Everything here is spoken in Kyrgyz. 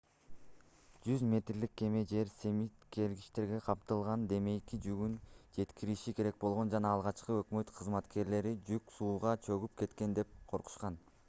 100 метрлик кеме жер семирткичтер камтылган демейки жүгүн жеткириши керек болгон жана алгач өкмөт кызматкерлери жүк сууга чөгүп кетет деп коркушкан